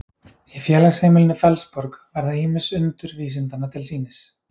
í félagsheimilinu fellsborg verða ýmis undur vísindanna til sýnis